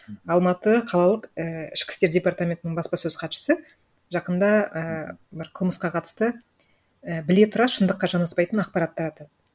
алматы қалалық ііі ішкі істер департаментінің баспасөз хатшысы жақында ііі бір қылмысқа қатысты і біле тұра шындыққа жанаспайтың ақпарат таратады